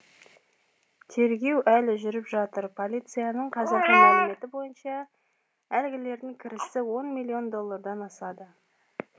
тергеу әлі жүріп жатыр полицияның қазіргі мәліметі бойынша әлгілердің кірісі он миллион доллардан асады